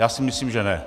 Já si myslím, že ne.